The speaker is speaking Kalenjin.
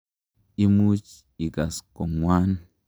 Imuch ikas ko ng'wan.